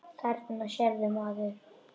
Þarna sérðu, maður.